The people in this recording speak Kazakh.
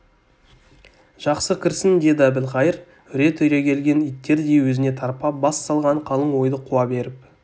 жақсы кірсін деді әбілқайыр үре түрегелген иттердей өзіне тарпа бас салған қалың ойды қуа беріп